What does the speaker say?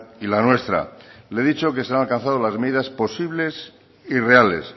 y la nuestra le he dicho que se han alcanzado las medidas posibles y reales